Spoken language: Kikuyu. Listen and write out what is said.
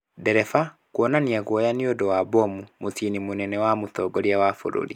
Ndereba kũonania guoya nĩ ũndũ wa mbomu , mũciĩ mũnene wa mũtongoria wa bũrũri.